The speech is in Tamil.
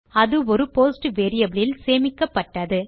அது ஒரு போஸ்ட் வேரியபிள் இல் சேமிக்கப்பட்டது